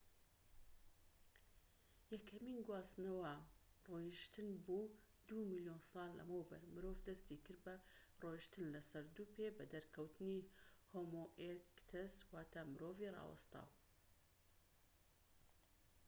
یەکەمین گواستنەوە ڕۆیشتن بوو، دوو ملیۆن ساڵ لەمەوبەر مرۆڤ دەستی کرد بە ڕۆیشتن لە سەر دوو پێ بە دەرکەوتنی هۆمۆ ئێرکتەس واتە مرۆڤی ڕاوەستاو